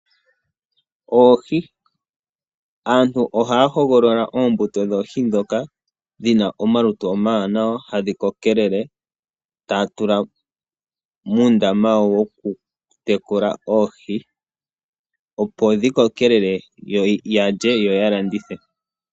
Oohi, Aantu ohaa hogolola oohi ndhono dhi na omalutu omawanawa na ohadhi kokelele opo ya tule muundama wawo woku dhi tekulila opo dhi kokelele yalye yo yalandithe.